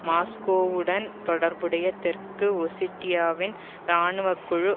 மாஸ்கோவுடன் தொடர்புடைய தெற்கு ஒசிட்டியாவின் இராணுவக்குழு